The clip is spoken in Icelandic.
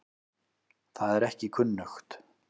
Það er ekki kunnugt.